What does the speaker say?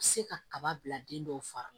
Se ka kaba bila den dɔw fari la